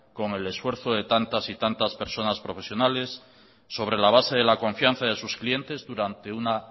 con el esfuerzo de tantas y tantas personas profesionales sobre la base de la confianza de sus clientes durante una